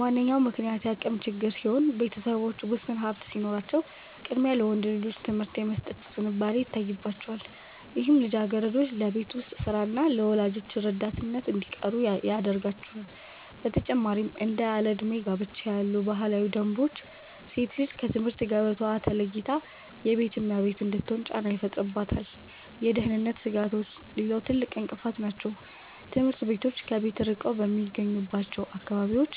ዋነኛው ምክንያት የአቅም ችግር ሲሆን፣ ቤተሰቦች ውስን ሀብት ሲኖራቸው ቅድሚያ ለወንድ ልጆች ትምህርት የመስጠት ዝንባሌ ይታይባቸዋል፤ ይህም ልጃገረዶች ለቤት ውስጥ ሥራና ለወላጆች ረዳትነት እንዲቀሩ ያደርጋቸዋል። በተጨማሪም እንደ ያለዕድሜ ጋብቻ ያሉ ባህላዊ ደንቦች ሴት ልጅ ከትምህርት ገበታዋ ተለይታ የቤት እመቤት እንድትሆን ጫና ይፈጥሩባታል። የደህንነት ስጋቶችም ሌላው ትልቅ እንቅፋት ናቸው፤ ትምህርት ቤቶች ከቤት ርቀው በሚገኙባቸው አካባቢዎች